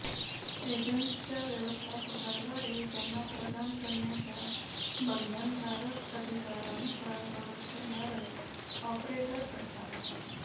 एजंट्सच्या व्यवस्थापकाद्वारे त्यांना प्रदान करण्याच्या बंधनकारक अधिकारानुसार संरक्षणधारक ऑपरेट करतात